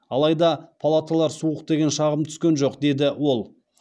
алайда палаталар суық деген шағым түскен жоқ деді ол